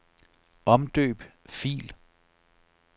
Omdøb fil.